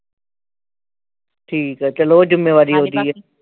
ਠੀਕ ਆ ਚੱਲੋ ਓਹ ਜਿੰਮੇਵਾਰੀ ਵਧੀਆ